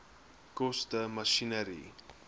koste masjinerie